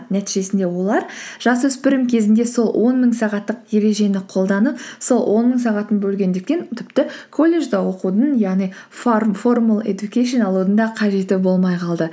нәтижесінде олар жасөспірім кезінде сол он мың сағаттық ережені қолданып сол он мың сағатын бөлгендіктен тіпті колледжде оқудың яғни формал эдукейшн алудың да қажеті болмай қалды